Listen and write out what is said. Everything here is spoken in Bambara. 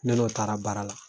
Ne n'o taara baara la.